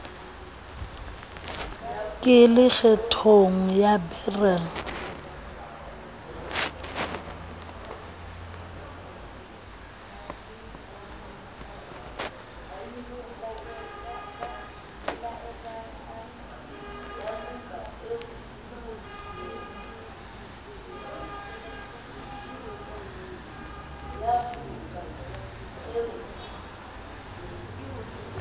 ke le kgethong ya beryl